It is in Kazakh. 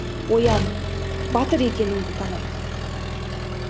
оян батыр екеніңді таныт